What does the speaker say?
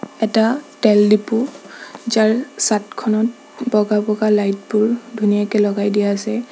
এটা তেল ডিপু যাৰ চাদখনত বগা-বগা লাইট বোৰ ধুনীয়াকে লগাই দিয়া আছে।